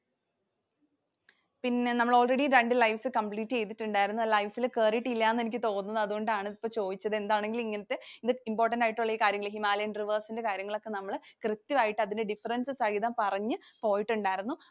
പിന്നെ നമ്മൾ already രണ്ട് livescomplete ചെയ്തിട്ടുണ്ടായിരുന്നു. Lives ൽ കേറിയിട്ടില്ലാന്നു എനിക്ക് തോന്നുന്നു. അതുകൊണ്ടാണ് ഇപ്പോൾ ചോദിച്ചത്. എന്താണെങ്കിലും ഇങ്ങനത്തെ important ആയിട്ടുള്ള ഈ കാര്യങ്ങൾ, Himalayan Rivers ൻറെ കാര്യങ്ങളൊക്കെ നമ്മൾ കൃത്യമായിട്ട് അതിൽ difference സഹിതം പറഞ്ഞു പോയിട്ടുണ്ടായിരുന്നു.